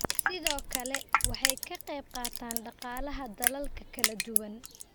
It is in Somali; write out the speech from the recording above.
Sidoo kale, waxay ka qayb qaataan dhaqaalaha dalal kala duwan.